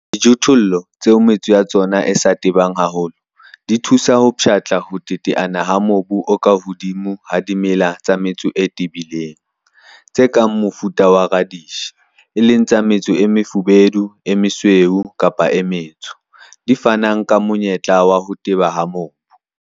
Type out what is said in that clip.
Dijothollo tseo metso ya tsona e sa tebang haholo di thusa ho pshatla ho teteana ha mobu o ka hodimo ha dimela tsa metso e tebileng, tse kang mofuta wa radish, e leng tsa metso e mefubedu, e mesweu kapa e metsho, di fanang ka monyetla wa ho teba ha mobu.